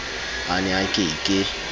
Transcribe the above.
a ne a ke ke